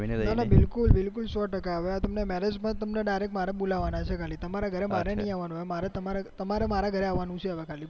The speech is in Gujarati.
ના ના બિલકુલ સો ટકા હવે આ તમને marriage માં બોલવાના છે તમારે મારા ઘરે આવવાનું છે